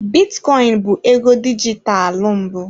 Bitcoin bụ ego dijitalụ mbụ.